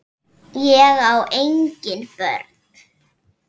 Ég á engin börn!